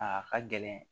A ka gɛlɛn